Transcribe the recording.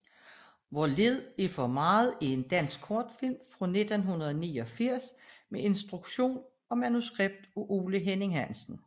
Hvor lidt er for meget er en dansk kortfilm fra 1989 med instruktion og manuskript af Ole Henning Hansen